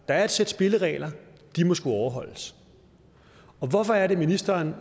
er et sæt spilleregler og de må skulle overholdes hvorfor er det ministeren